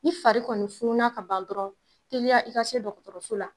Ni fari kɔni funnun na ka ban dɔrɔn, teliya i ka se dɔkɔtɔrɔso la